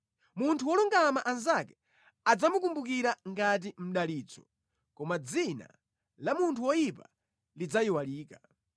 Munthu wolungama anzake adzamukumbukira ngati mdalitso, koma dzina la munthu woyipa lidzayiwalika.